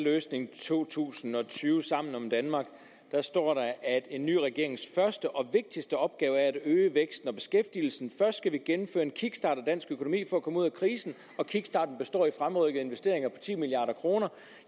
løsning to tusind og tyve sammen om danmark står at en ny regerings første og vigtigste opgave er at øge væksten og beskæftigelsen først skal vi gennemføre en kickstart af dansk økonomi for at komme ud af krisen og kickstarten består i fremrykkede investeringer på ti milliard kroner